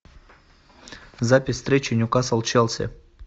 запись встречи ньюкасл челси